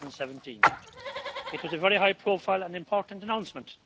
2017. It was a very high profile and important announcement.